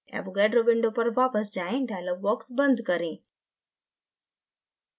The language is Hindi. avogadro window पर वापस जाएँ dialog box back करें